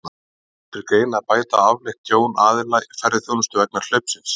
En kemur til greina að bæta afleitt tjón aðila í ferðaþjónustu vegna hlaupsins?